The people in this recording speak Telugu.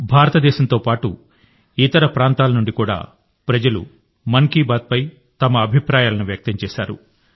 భారతదేశంతో పాటు ఇతర నుండి కూడా ప్రజలు మన్ కీ బాత్పై తమ అభిప్రాయాలను వ్యక్తం చేశారు